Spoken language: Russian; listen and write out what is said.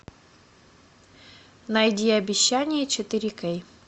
найди обещание четыре кей